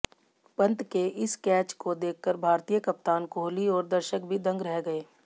पंत के इस कैच को देखकर भारतीय कप्तान कोहली और दर्शक भी दंग रह गए